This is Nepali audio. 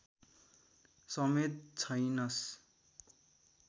समेत छैनस्